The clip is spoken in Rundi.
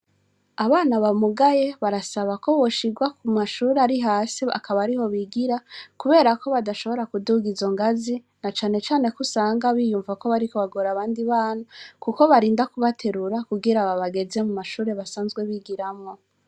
Abana bamugaye barasaba ko boshirwa ku mashuri ari hasi akaba ari ho bigira, kubera ko badashobora kuduga izo ngazi na canecane ko usanga biyumvako bariko bagore abandi bana, kuko barinda kubaterura kugira babageze mu mashuri basanzwe bigiramwo.